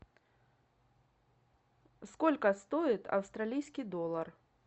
сколько стоит австралийский доллар